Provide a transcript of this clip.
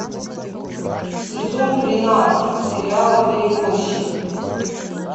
сезон тринадцать сериала перевозчик